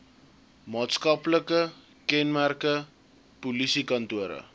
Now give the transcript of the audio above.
maatskaplike kenmerke polisiekantore